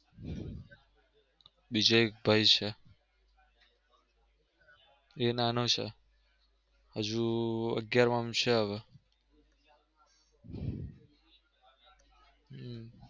બીજો એક ભાઈ છે એ નાનો છે હજુ અગિયારમામ છે હવે.